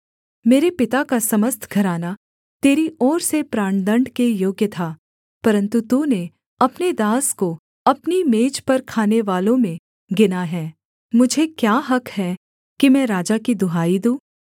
मेरे पिता का समस्त घराना तेरी ओर से प्राणदण्ड के योग्य था परन्तु तूने अपने दास को अपनी मेज पर खानेवालों में गिना है मुझे क्या हक़ है कि मैं राजा की दुहाई दूँ